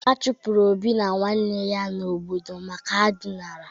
A chụpụrụ Obi na nwanne ya n'obodo maka na ha dinara.